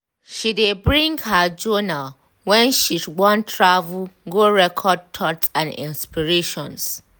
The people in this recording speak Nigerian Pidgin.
she de bring her journal when she want travel go record thoughts and inspirations.